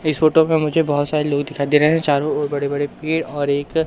इस फोटो पे मुझे बहोत सारे लोग दिखाई दे रहे हैं चारों ओर बड़े बड़े पेड़ और एक--